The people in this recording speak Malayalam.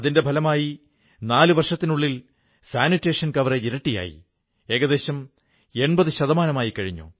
അതിന്റെ ഫലമായി 4 വർഷത്തിനുള്ളിൽ സാനിട്ടേഷൻ കവറേജ് ഇരട്ടിയായി ഏകദേശം 80 ശതമാനമായിക്കഴിഞ്ഞു